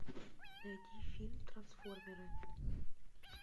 найти фильм трансформеры